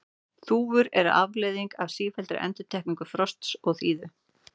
Þúfur eru afleiðing af sífelldri endurtekningu frosts og þíðu.